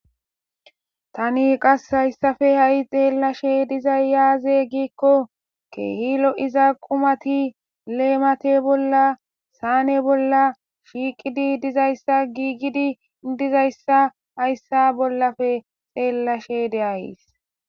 Tani qase haysappe xelashe dizay aze gikon keeh lo'iza qumat lemate bolla shiqid dizaysa gigid dizaysa haysa bollappe xelashe de'ays.